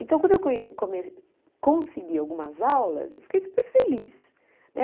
Então, quando eu conhe come consegui algumas aulas, eu fiquei super feliz, né?